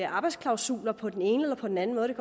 arbejdsklausuler på den ene eller på den anden måde det